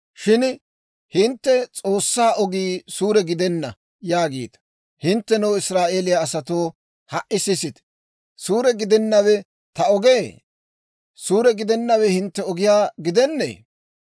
« ‹Shin hintte, S'oossaa ogii suure gidenna› yaagiita. Hinttenoo, Israa'eeliyaa asatoo, ha"i sisite! Suure gidennawe ta ogee? suure gidennawe hintte ogiyaa gidennee?